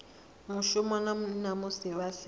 mushumoni na musi vha si